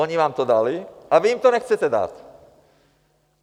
Oni vám to dali a vy jim to nechcete dát.